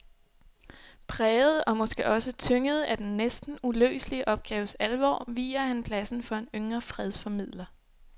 Præget og måske også tynget af den næsten uløselige opgaves alvor viger han pladsen for en yngre fredsformidler.